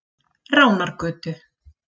Ránargötu